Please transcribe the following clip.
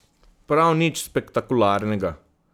Prav nič spektakularnega.